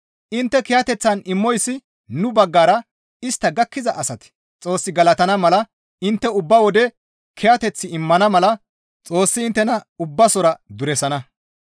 Intte kiyateththan immoyssi nu baggara istta gakkiza asati Xoos galatana mala intte ubba wode kiyateth immana mala Xoossi inttena ubbasora duresana.